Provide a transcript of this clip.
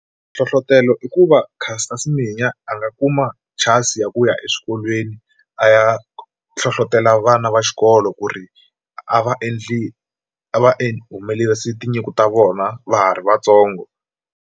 Nhlohlotelo i ku va Caster Semenya a nga kuma chance ya ku ya exikolweni a ya hlohlotela vana va xikolo ku ri a va endli a va humelerisi tinyiko ta vona va ha ri vatsongo.